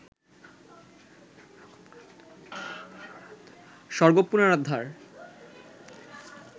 স্বর্গ পুনরুদ্ধার